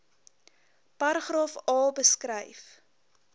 paragraaf a beskryf